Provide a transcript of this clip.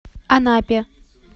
анапе